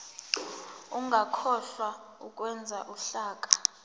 ungakhohlwa ukwenza uhlaka